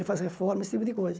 Ele faz reforma, esse tipo de coisa.